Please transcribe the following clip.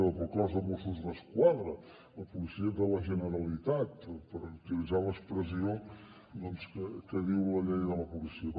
per al cos de mossos d’esquadra la policia de la generalitat per utilitzar l’expressió que diu la llei de la policia